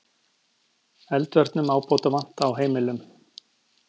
Eldvörnum ábótavant á heimilum